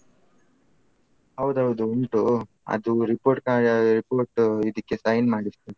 ಹೌದೌದು ಉಂಟು ಅದೂ report report ಇದ್ಕೆ sign ಮಾಡಿಸ್ಬೇಕ್.